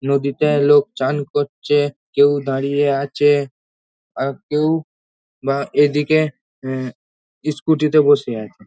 নদীতে লোক চান করছে কেউ দাঁড়িয়ে আছে কেউ বা এদিকে ইস্কুটি -তে বসে আছে।